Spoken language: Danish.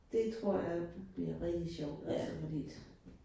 Det tror jeg bliver rigtig sjovt altså fordi